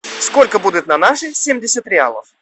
сколько будет на наши семьдесят реалов